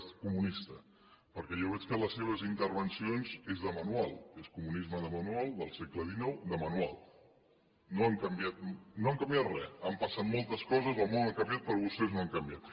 comunista perquè jo veig que les seves intervencions són de manual és comunisme de manual del segle xix de manual no han canviat re han passat moltes coses el món ha canviat però vostès no han canviat